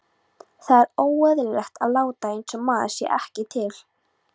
Það er óeðlilegt að láta einsog maður sé ekki til.